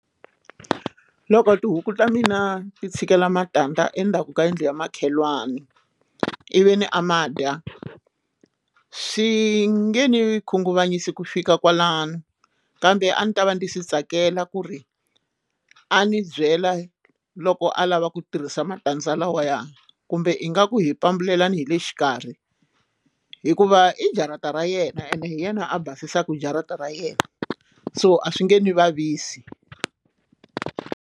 Loko tihuku ta mina ti tshikela matandza endzhaku ka yindlu ya makhelwani ivi a ma dya swi nge ni khunguvanyise ku fika kwalano kambe a ndzi ta va ndzi swi tsakela ku ri a ni byela loko a lava ku tirhisa matandza lawaya kumbe ingaku hi pambulelana hi le xikarhi hikuva i jarata ra yena ene hi yena a basisaku jarata ra yena so a swi nge n'wi vavisi.